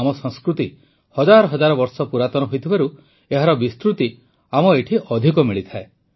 ଆମ ସଂସ୍କୃତି ହଜାର ହଜାର ବର୍ଷ ପୁରାତନ ହୋଇଥିବାରୁ ଏହାର ବିସ୍ତୃତି ଆମ ଏଠି ଅଧିକ ମିଳିଥାଏ